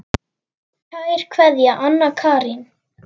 Kær kveðja, Anna Karín.